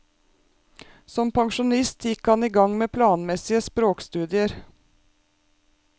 Som pensjonist gikk han i gang med planmessige språkstudier.